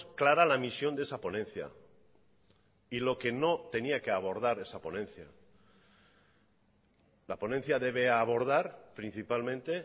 clara la misión de esa ponencia y lo que no tenía que abordar esa ponencia la ponencia debe abordar principalmente